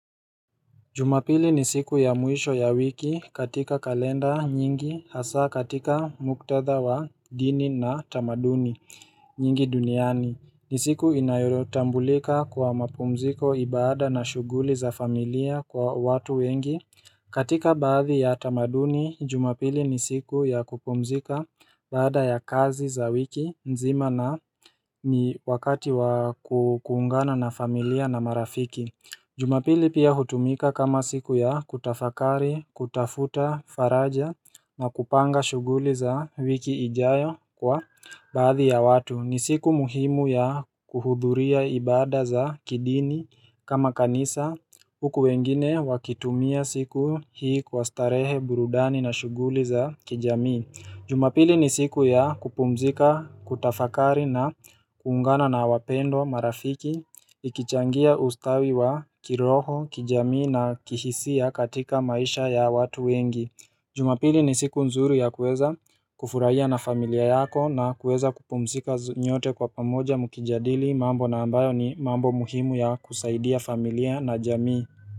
Jumapili ni siku ya mwisho ya wiki katika kalenda nyingi hasa katika muktadha wa dini na tamaduni nyingi duniani. Ni siku inayotambulika kwa mapumziko ibada na shughuli za familia kwa watu wengi. Katika baadhi ya tamaduni, jumapili ni siku ya kupumzika baada ya kazi za wiki, nzima na ni wakati wa kuungana na familia na marafiki. Jumapili pia hutumika kama siku ya kutafakari, kutafuta, faraja na kupanga shughuli za wiki ijayo kwa baadhi ya watu. Ni siku muhimu ya kuhudhuria ibada za kidini kama kanisa huku wengine wakitumia siku hii kwa starehe burudani na shughuli za kijamii. Jumapili ni siku ya kupumzika, kutafakari na kuungana na wapendwa, marafiki, ikichangia ustawi wa kiroho, kijamii na kihisia katika maisha ya watu wengi Jumapili ni siku nzuri ya kueza kufurahia na familia yako na kueza kupumzika nyote kwa pamoja mkijadili mambo na ambayo ni mambo muhimu ya kusaidia familia na jamii.